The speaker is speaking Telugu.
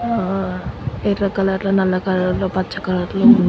ఆ ఎర్ర కలర్ లో నల్ల కలర్ లో పచ్చ కలర్ లో --